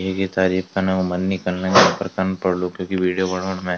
ईकी तारीफ़ कना क मन नी कण लग्युं पर कन पोडलू क्यूंकि विडियो बणौंण मै।